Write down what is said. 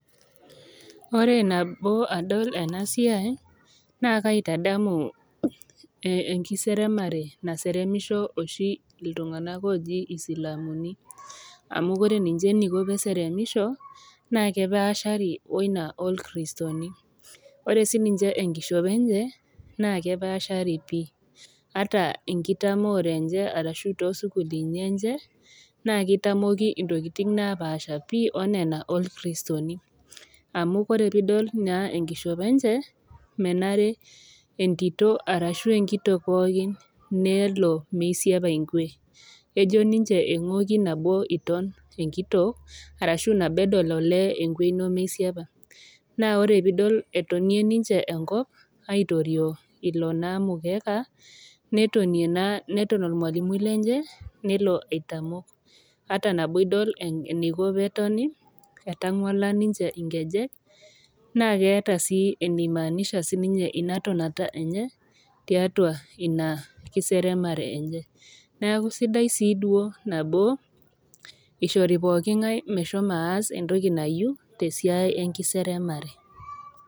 Ore nabo adol ena siai naake aitadamu enkiseremare naseremisho oshi iltung'ana ooji isilamuni amu ore ninche eneiko pee eseremisho naa kepaashari wo Ina oo ilkiristoni, ore sii ninye enkishopo enye, naa kepaashari pii, ata enkitamoore enye too isukulini enye, naa keitamoki intokitin napaasha pi o Nena olkristooni , amu ore pee idol naa enkishopo enye, menare entito arashu enkitok pooki nelo meisiepa enkue, ejo ninche eng'wokki nabo iton enkitok, arashu nabo edol olee enkwe ino meisiepa. Naa ore pee idol etonie ninche enkop aitorio naa ilo mukeka, netonie naa neton olmwalimui lenye neton aitamok, ata tenidol eneiko pee etoni, etangwala ninche inkejek naa keata sii eneimaanisha Ina tonata enye tiatua Ina kiseremare enye, neaku sidai sii duo eishoori pookin ngai meshomo aas entoki nayiou te esiai enkiseremare.